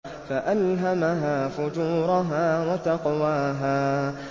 فَأَلْهَمَهَا فُجُورَهَا وَتَقْوَاهَا